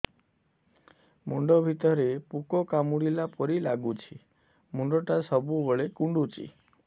ମୁଣ୍ଡ ଭିତରେ ପୁକ କାମୁଡ଼ିଲା ପରି ଲାଗୁଛି ମୁଣ୍ଡ ଟା ସବୁବେଳେ କୁଣ୍ଡୁଚି